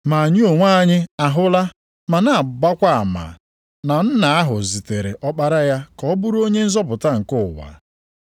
Ma anyị onwe anyị ahụla ma na-agbakwa ama na Nna ahụ zitere Ọkpara ya ka ọ bụrụ Onye nzọpụta nke ụwa.